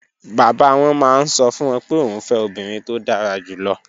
Bàbá wọn máa ń sọ fún wọn pé òun fẹ́ obìnrin tó dára jù lọ.